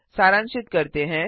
सारांशित करते हैं